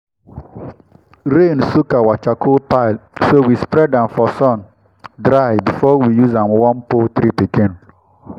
rain soak our charcoal pile so we spread am for sun dry before we use am warm poultry pikin.